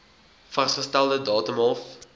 vasgestelde datum hof